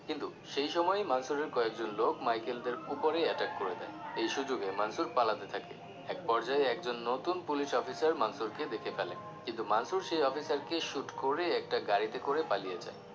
কিন্তু সেই সময়ই মানসুরের কয়েকজন লোক Michael দের ওপরে attack করে দেয় এই সুযোগে মানসুর পালাতে থাকে এক পর্যায়ে একজন নতুন পুলিশ অফিসার মানসুর কে দেখে ফেলে কিন্তু মানসুর সেই অফিসারকে shoot করে একটা গাড়িতে করে পালিয়ে যায়